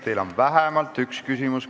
Teile on vähemalt üks küsimus.